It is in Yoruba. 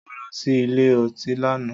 Mo lọ sí ilé ọtí lánàá.